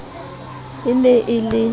e ne e le e